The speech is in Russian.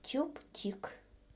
чуб чик